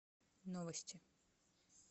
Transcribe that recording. новости